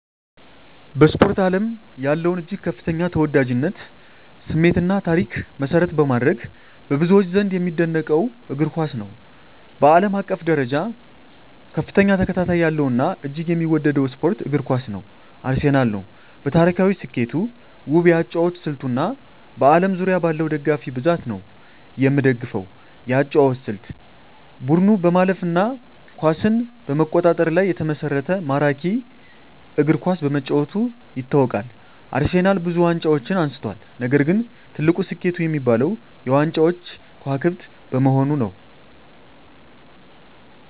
በስፖርት አለም ያለውን እጅግ ከፍተኛ ተወዳጅነት፣ ስሜት እና ታሪክ መሰረት በማድረግ፣ በብዙዎች ዘንድ የሚደነቀውን እግር ኳስን ነው። በአለም አቀፍ ደረጃ ከፍተኛ ተከታታይ ያለው እና እጅግ የሚወደደው ስፖርት እግር ኳስ ነው። አርሴናል ነው። በታሪካዊ ስኬቱ፣ ውብ የአጨዋወት ስልቱ እና በአለም ዙሪያ ባለው ደጋፊ ብዛት ነው። የምደፈው የአጨዋወት ስልት : ቡድኑ በማለፍ እና ኳስን በመቆጣጠር ላይ የተመሰረተ ማራኪ እግር ኳስ በመጫወቱ ይታወቃል። አርሴናልብዙ ዋንጫዎችን አንስቷል፣ ነገር ግን ትልቁ ስኬቱ የሚባለው -የ ዋንጫዎች ክዋክብት በመሆኑ ነዉ።